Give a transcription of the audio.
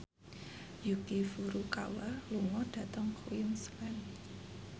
Yuki Furukawa lunga dhateng Queensland